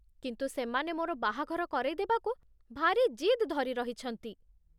କିନ୍ତୁ ସେମାନେ ମୋର ବାହାଘର କରେଇଦେବାକୁ ଭାରି ଜିଦ୍ ଧରି ରହିଛନ୍ତି ।